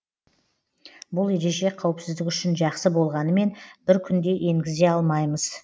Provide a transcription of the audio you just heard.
бұл ереже қауіпсіздік үшін жақсы болғанымен бір күнде енгізе алмаймыз